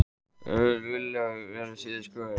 Vilja að hætt verði við niðurskurð